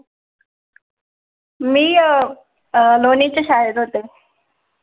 मी अं लोणेच्‍या शाळेत होते.